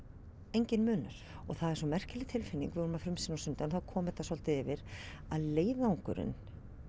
enginn munur og það er svo merkileg tilfinning við vorum að frumsýna á sunnudag þá kom þetta svolítið yfir að leiðangurinn